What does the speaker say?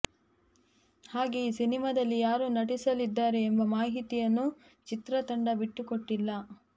ಹಾಗೇ ಈ ಸಿನಿಮಾದಲ್ಲಿ ಯಾರು ನಟಿಸಲಿದ್ದಾರೆ ಎಂಬ ಮಾಹಿತಿಯನ್ನೂ ಚಿತ್ರತಂಡ ಬಿಟ್ಟುಕೊಟ್ಟಿಲ್ಲ